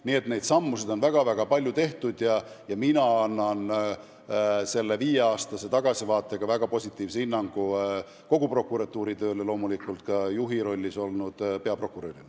Nii et vajalikke samme on väga-väga palju astutud ja mina annan viiele aastale tagasi vaadates väga positiivse hinnangu kogu prokuratuuri tööle, loomulikult ka juhi rollis olnud peaprokurörile.